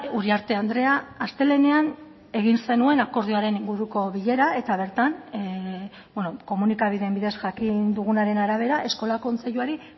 uriarte andrea astelehenean egin zenuen akordioaren inguruko bilera eta bertan komunikabideen bidez jakin dugunaren arabera eskola kontseiluari